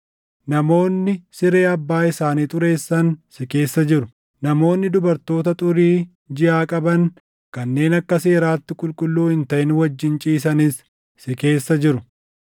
Namoonni siree abbaa isaanii xureessan si keessa jiru; namoonni dubartoota xurii jiʼaa qaban kanneen akka seeraatti qulqulluu hin taʼin wajjin ciisanis si keessa jiru.